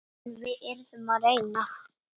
En við yrðum að reyna.